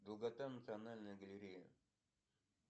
долгота национальная галерея